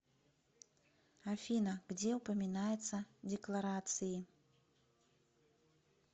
афина где упоминается декларации